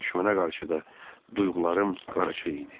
Düşmənə qarşı da duyğularım qarışıq idi.